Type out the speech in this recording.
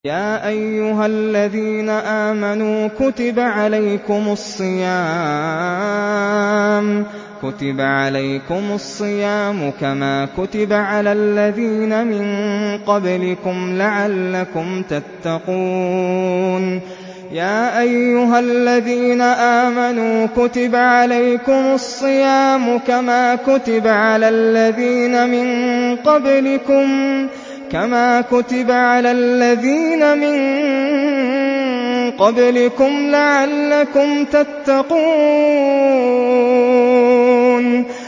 يَا أَيُّهَا الَّذِينَ آمَنُوا كُتِبَ عَلَيْكُمُ الصِّيَامُ كَمَا كُتِبَ عَلَى الَّذِينَ مِن قَبْلِكُمْ لَعَلَّكُمْ تَتَّقُونَ